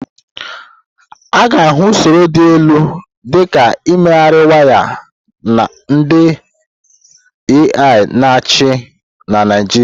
A ga-ahụ usoro dị elu dị ka imegharị waya ndị AI na-achị na Naịjirịa.